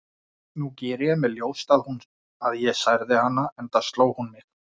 Nú geri ég mér ljóst að ég særði hana, enda sló hún mig.